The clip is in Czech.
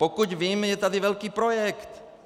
Pokud vím, je tady velký projekt.